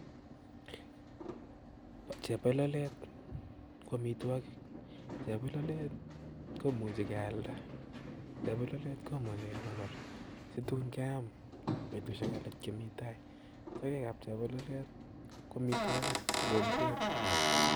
Chebololet KO amitwogiik, chebololet keimuchi kealdaa, chebololet kimuch kekonor situun keam betusiek alak chemitai, sogeek ab chebololet KO amotwogik alo ngweek